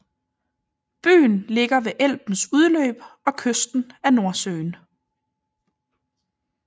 Byen ligger ved Elbens udløb og kysten af Nordsøen